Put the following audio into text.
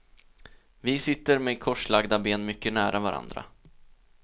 Vi sitter med korslagda ben mycket nära varandra.